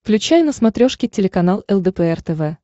включай на смотрешке телеканал лдпр тв